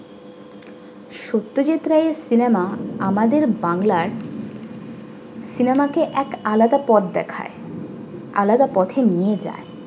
সত্যজিৎ রায়ের cinema আমাদের বাংলার cinema কে এক আলাদা পথ দেখায় আলাদা পথে নিয়ে যায়।